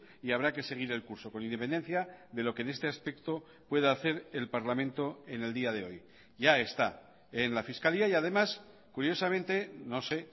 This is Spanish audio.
y habrá que seguir el curso con independencia de lo que en este aspecto pueda hacer el parlamento en el día de hoy ya está en la fiscalía y además curiosamente no sé